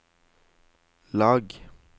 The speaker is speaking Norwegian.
lag